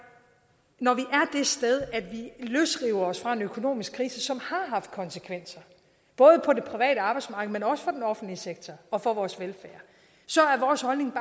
når vi er sted at vi løsriver os fra en økonomisk krise som har haft konsekvenser både på det private arbejdsmarked men også for den offentlige sektor og for vores velfærd så er vores holdning